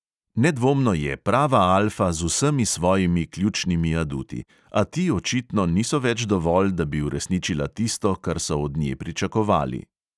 Nedvomno je prava alfa z vsemi svojimi ključnimi aduti, a ti očitno niso več dovolj, da bi uresničila tisto, kar so od nje pričakovali.